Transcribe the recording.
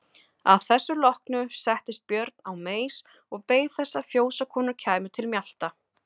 Að þessu loknu settist Björn á meis og beið þess að fjósakonur kæmu til mjalta.